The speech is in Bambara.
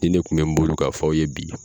Nin ne kun bɛ n bolo k'a fɔ aw ye bi.